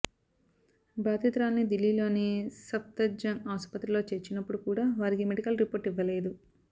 బాధితురాలిని దిల్లీలోని సఫ్దర్జంగ్ ఆసుపత్రిలో చేర్చినప్పుడు కూడా వారికి మెడికల్ రిపోర్ట్ ఇవ్వలేదు